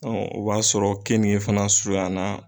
o b'a sɔrɔ kenige fana surunyan na